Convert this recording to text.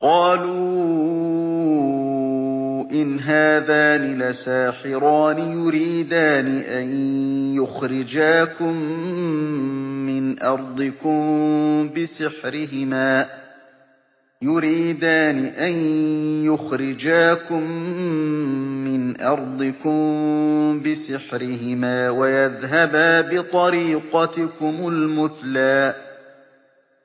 قَالُوا إِنْ هَٰذَانِ لَسَاحِرَانِ يُرِيدَانِ أَن يُخْرِجَاكُم مِّنْ أَرْضِكُم بِسِحْرِهِمَا وَيَذْهَبَا بِطَرِيقَتِكُمُ الْمُثْلَىٰ